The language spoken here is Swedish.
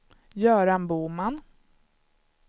Göran Boman